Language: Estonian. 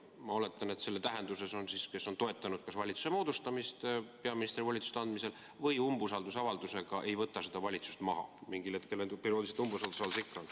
Ma oletan, et selles tähenduses need, kes on toetanud kas valitsuse moodustamist peaministrile volituste andmisel või umbusaldusavaldusega, ei võta seda valitsust maha, sest mingil hetkel perioodiliselt umbusaldus ikka on.